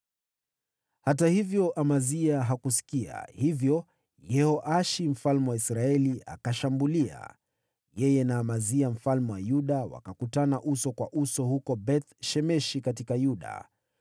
Hata hivyo, Amazia hakusikia, hivyo Yehoashi mfalme wa Israeli akashambulia. Yeye na Amazia mfalme wa Yuda wakakutana uso kwa uso huko Beth-Shemeshi katika Yuda.